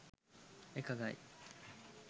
එකඟයි